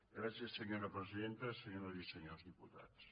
gràcies senyora presidenta senyores i senyors diputats